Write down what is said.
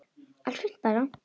Allt fínt bara.